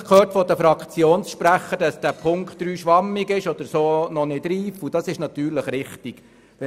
Wir haben von den Fraktionssprechenden verschiedentlich gehört, dass Punkt 3 schwammig sei, was natürlich richtig ist.